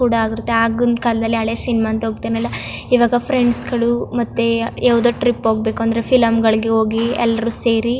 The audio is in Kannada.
ಕೂಡ ಆಗಿರುತ್ತೆ ಆಗಿನ್ ಕಾಲದಲ್ಲಿ ಹಳೆ ಸಿನಿಮಾ ಅಂತ ಹೋಗತ್ತನಲ್ಲಾ ಈವಾಗ ಫ್ರೆಂಡ್ಸ್ ಗಳು ಮತ್ತೆ ಯಾವದೇ ಟ್ರಿಪ್ ಹೋಗ್ ಬೇಕಂದ್ರೆ ಫಿಲಂಗಳಿಗೆ ಹೋಗಿ ಎಲ್ಲ್ರು ಸೇರಿ --